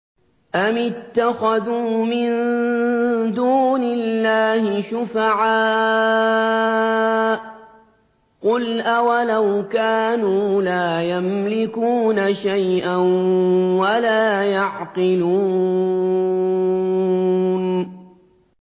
أَمِ اتَّخَذُوا مِن دُونِ اللَّهِ شُفَعَاءَ ۚ قُلْ أَوَلَوْ كَانُوا لَا يَمْلِكُونَ شَيْئًا وَلَا يَعْقِلُونَ